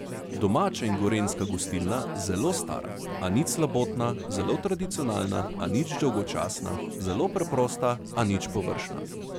Domača in gorenjska gostilna, zelo stara, a nič slabotna, zelo tradicionalna, a nič dolgočasna, zelo preprosta, a nič površna.